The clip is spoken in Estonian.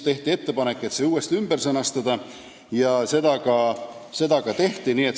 Tehti ettepanek see ümber sõnastada ja seda ka tehti.